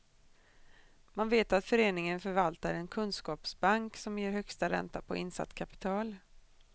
Man vet att föreningen förvaltar en kunskapsbank, som ger högsta ränta på insatt kapital.